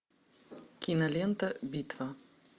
кинолента битва